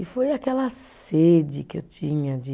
E foi aquela sede que eu tinha de